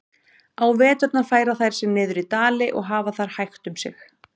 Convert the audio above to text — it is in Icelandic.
Á veturna færa þær sig niður í dali og hafa þar hægt um sig.